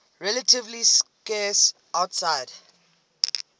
relatively scarce outside